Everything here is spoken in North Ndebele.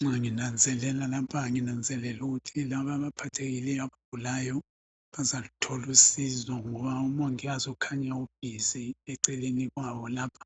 Nxa nginanzelela lapha nginanzelela ukuthi laba abaphathekileyo abagulayo bazaluthola usizo ngoba umongikazi ukhanya u busy eceleni kwabo lapha